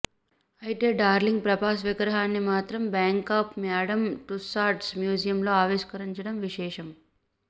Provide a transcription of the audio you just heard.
అయితే డార్లింగ్ ప్రభాస్ విగ్రహాన్ని మాత్రం బ్యాంకాక్ మ్యాడమ్ టుస్సాడ్స్ మ్యూజియంలో ఆవిష్కరించడం విశేషం